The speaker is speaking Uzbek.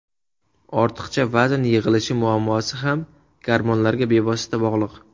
Ortiqcha vazn yig‘ilishi muammosi ham gormonlarga bevosita bog‘liq.